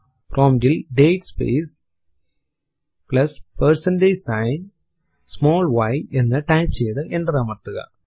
prompt ൽ date space plus percentage sign small y എന്ന് type ചെയ്തു എന്റർ അമർത്തുക